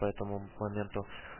по этому моменту